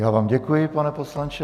Já vám děkuji, pane poslanče.